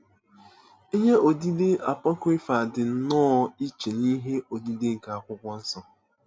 Ihe odide apọkrịfa dị nnọọ iche n'ihe odide nke akwụkwọ nsọ.